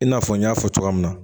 I n'a fɔ n y'a fɔ cogoya min na